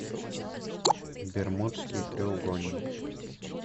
бермудский треугольник